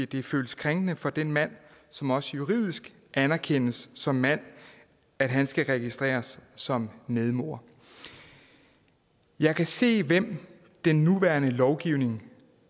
det føles krænkende for den mand som også juridisk anerkendes som mand at han skal registreres som medmor jeg kan se hvem den nuværende lovgivning